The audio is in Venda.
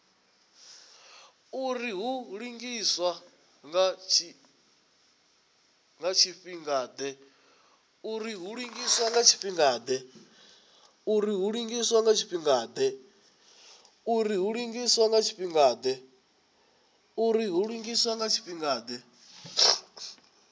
uri hu lugiswa nga tshifhingade